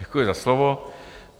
Děkuji za slovo.